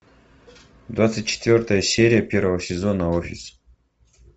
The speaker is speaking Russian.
двадцать четвертая серия первого сезона офис